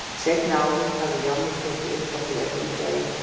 Seinni árin hafði Jonni tekið upp á því að hringja í